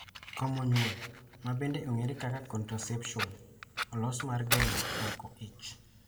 Komo nyuol, ma bende ong'ere kaka contraception, olos mar geng'o mako ich.